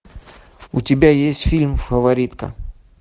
у тебя есть фильм фаворитка